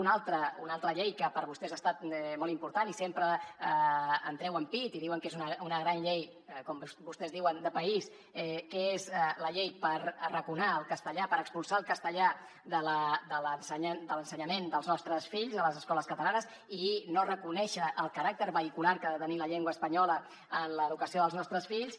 una altra una altra llei que per a vostès ha estat molt important i sempre en treuen pit i diuen que és una gran llei com vostès diuen de país que és la llei per arraconar el castellà per expulsar el castellà de l’ensenyament dels nostres fills a les escoles catalanes i no reconèixer el caràcter vehicular que ha de tenir la llengua espanyola en l’educació dels nostres fills